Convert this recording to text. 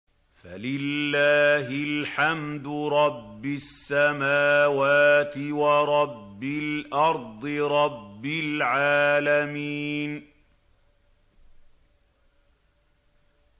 فَلِلَّهِ الْحَمْدُ رَبِّ السَّمَاوَاتِ وَرَبِّ الْأَرْضِ رَبِّ الْعَالَمِينَ